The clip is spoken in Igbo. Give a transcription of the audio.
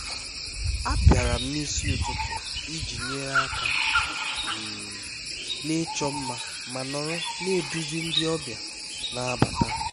abịara m n'isi ụtụtụ iji nyere aka um n'ịchọ mma ma nọrọ na-eduzi ndị ọbịa na-abata